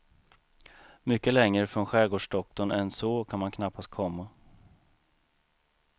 Mycket längre från skärgårdsdoktorn än så kan man knappast komma.